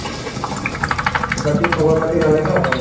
বাকি খবৰপাতি ভালে ন ঘৰ